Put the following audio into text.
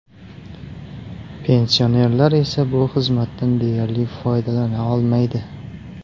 Pensionerlar esa bu xizmatdan deyarli foydalana olmaydi.